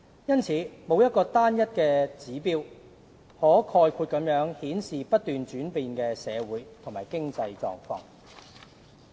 因此，沒有單一指標可概括顯示不斷轉變的社會和經濟狀況。